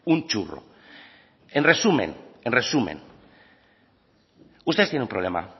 un churro en resumen en resumen ustedes tienen un problema